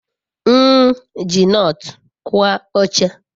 m eji nut kua oche